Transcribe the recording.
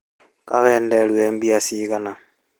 Kaĩ wenderio mbia cigana